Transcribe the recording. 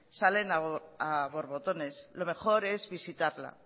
salen a borbotones lo mejor es visitarla